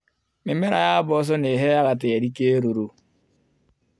Mĩmera ya mboco nĩiheaga tĩri kĩruru.